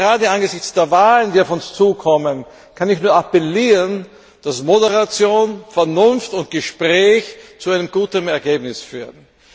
Und gerade angesichts der Wahlen, die auf uns zukommen, kann ich nur appellieren, dass Moderation, Vernunft und Gespräch zu einem guten Ergebnis führen.